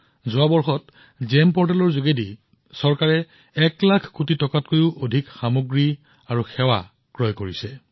যোৱা এবছৰত জিইএম পৰ্টেলৰ জৰিয়তে চৰকাৰে ১ লাখ কোটি টকাৰ অধিক মূল্যৰ সামগ্ৰী ক্ৰয় কৰিছে